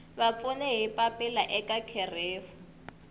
vapfuni hi papila eka kherefu